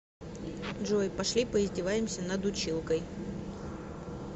джой пошли поиздеваемся над училкой